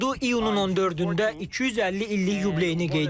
Ordu iyunun 14-də 250 illik yubileyini qeyd edir.